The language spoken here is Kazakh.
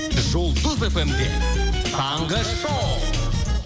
жұлдыз фм де таңғы шоу